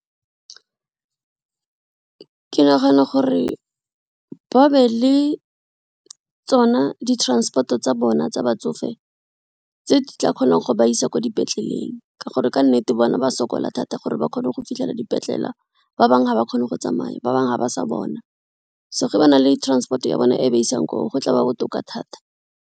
Ke nagana gore ba be le tsona di-transport-o tsa bona tsa batsofe tse di tla kgonang go ba isa kwa di petleleleng ka gore ka nnete bona ba sokola thata gore ba kgone go fitlhela dipetlela ba bangwe ga ba kgone go tsamaya, ba bangwe ga ba sa bona. So, ga ba na le transport ya bone e ba isang koo go tla ba botoka thata.